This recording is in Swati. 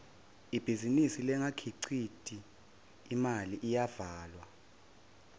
ibhizinisi lengakhiciti imali iyavalwa